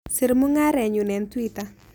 Sir mung'arenyun eng' twitter